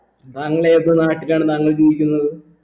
താങ്കൾ ഏത് നാട്ടിലാണ് താങ്കൾ ജീവിക്കുന്നത്